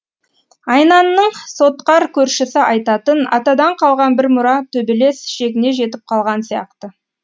айнанның сотқар көршісі айтатын атадан қалған бір мұра төбелес шегіне жетіп қалған сияқты